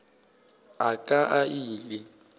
a ka a ile a